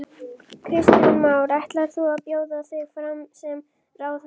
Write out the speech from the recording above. Kristján Már: Ætlar þú að bjóða þig fram sem ráðherra?